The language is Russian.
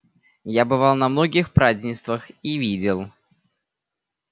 я бывал на многих празднествах и видел